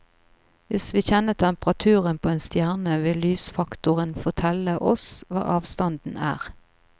Hvis vi kjenner temperaturen på en stjerne, vil lysfaktoren fortelle oss hva avstanden er.